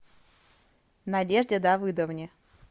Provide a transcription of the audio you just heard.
надежде давыдовне